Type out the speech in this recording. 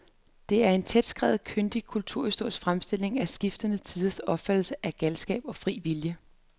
Det er en tætskrevet, kyndig kulturhistorisk fremstilling af skiftende tiders opfattelse af galskab og fri vilje.